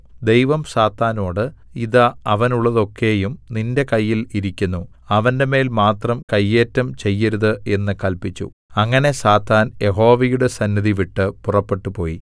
ദൈവം സാത്താനോട് ഇതാ അവനുള്ളതൊക്കെയും നിന്റെ കയ്യിൽ ഇരിക്കുന്നു അവന്റെമേൽ മാത്രം കയ്യേറ്റം ചെയ്യരുത് എന്ന് കല്പിച്ചു അങ്ങനെ സാത്താൻ യഹോവയുടെ സന്നിധി വിട്ട് പുറപ്പെട്ടുപോയി